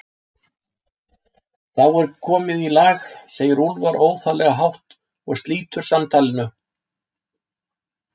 Það er þá komið í lag, segir Úlfar óþarflega hátt og slítur samtalinu.